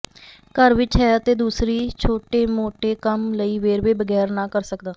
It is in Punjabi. ਘਰ ਵਿੱਚ ਹੈ ਅਤੇ ਦਸਤੀ ਛੋਟੇਮੋਟੇਕੰਮ ਲਈ ਵੇਰਵੇ ਬਗੈਰ ਨਾ ਕਰ ਸਕਦਾ